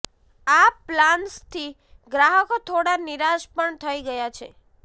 આ પ્લાન્સથી ગ્રાહકો થોડા નિરાશ પણ થઇ ગયા છે